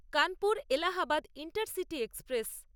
Kanpur Allahabad intercity express